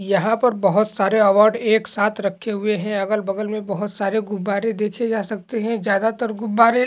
यहां पर बहुत सारे अवार्ड एक साथ रखे हुये हैं अगल बगल मे बहुत सारे गुब्बारे देखे जा सकते हैं। ज़्यादातर गुब्बारे--